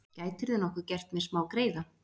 Gætirðu nokkuð gert mér smágreiða?